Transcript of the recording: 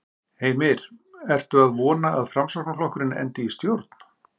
Heimir: Ertu að vona að Framsóknarflokkurinn endi í stjórn?